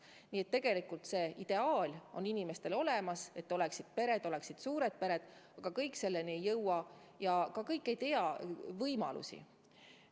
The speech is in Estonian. Nii et tegelikult on inimestel ideaal, et oleksid suured pered, aga kõik selleni ei jõua ja kõik ei tea ka võimalusi.